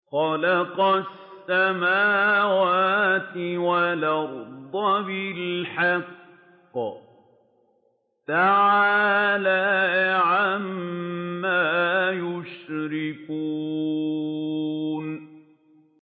خَلَقَ السَّمَاوَاتِ وَالْأَرْضَ بِالْحَقِّ ۚ تَعَالَىٰ عَمَّا يُشْرِكُونَ